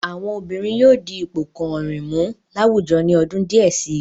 Àwọn obìnrin yóò di ipò kàn-àn-rìn mú láwùjọ ní ọdún díẹ̀ si.